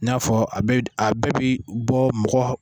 N'a fɔ a bɛɛ bi bɔ mɔgɔ.